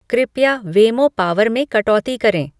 कृपया वेमो पावर में कटौती करें